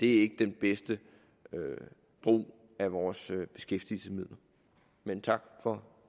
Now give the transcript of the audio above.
er den bedste brug af vores beskæftigelsesmidler men tak for